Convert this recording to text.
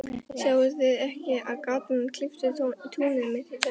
Sjáið þið ekki, að gatan klyfi túnið mitt í tvennt?